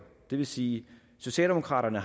det vil sige at socialdemokraterne